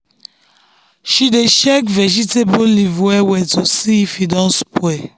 she dey check vegetable leaf well well to see if e don spoil.